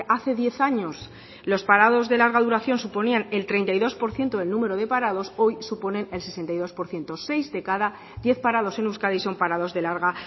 hace diez años los parados de larga duración suponían el treinta y dos por ciento del número de parados hoy suponen el sesenta y dos por ciento seis de cada diez parados en euskadi son parados de larga